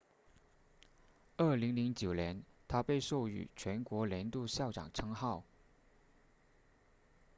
2009年她被授予全国年度校长称号